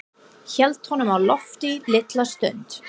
Hélt honum á lofti litla stund.